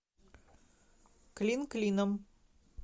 клин клином